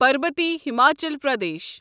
Parbati Himachal Pradesh